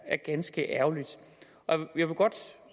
er ganske ærgerligt